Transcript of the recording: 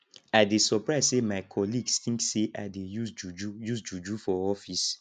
i dey surprise sey my colleagues tink sey i dey use juju use juju for office